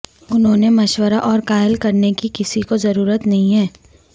انہوں نے مشورہ اور قائل کرنے کی کسی کو ضرورت نہیں ہے